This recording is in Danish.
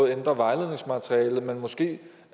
ændre vejledningsmaterialet og måske